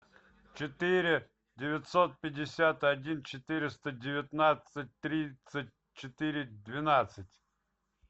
четыре девятьсот пятьдесят один четыреста девятнадцать тридцать четыре двенадцать